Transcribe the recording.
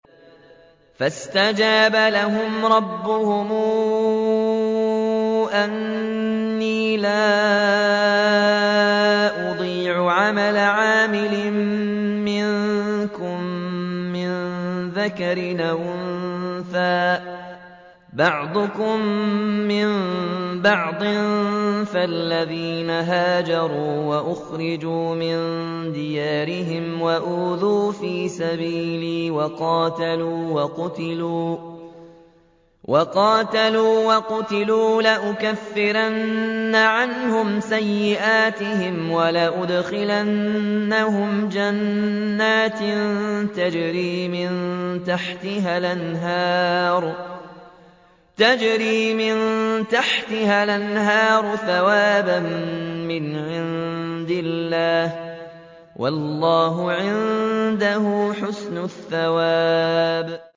فَاسْتَجَابَ لَهُمْ رَبُّهُمْ أَنِّي لَا أُضِيعُ عَمَلَ عَامِلٍ مِّنكُم مِّن ذَكَرٍ أَوْ أُنثَىٰ ۖ بَعْضُكُم مِّن بَعْضٍ ۖ فَالَّذِينَ هَاجَرُوا وَأُخْرِجُوا مِن دِيَارِهِمْ وَأُوذُوا فِي سَبِيلِي وَقَاتَلُوا وَقُتِلُوا لَأُكَفِّرَنَّ عَنْهُمْ سَيِّئَاتِهِمْ وَلَأُدْخِلَنَّهُمْ جَنَّاتٍ تَجْرِي مِن تَحْتِهَا الْأَنْهَارُ ثَوَابًا مِّنْ عِندِ اللَّهِ ۗ وَاللَّهُ عِندَهُ حُسْنُ الثَّوَابِ